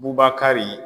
Bubakari